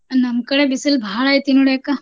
ನಮ್ಕಡೆ ಬಿಸಲ್ ಭಾಳೈತಿ ನೋಡ್ ಅಕ್ಕ.